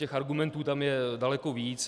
Těch argumentů tam je daleko víc.